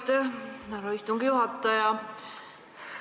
Aitäh, härra istungi juhataja!